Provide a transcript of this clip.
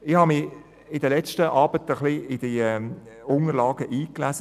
Ich habe mich an den letzten Abenden in die Unterlagen eingelesen.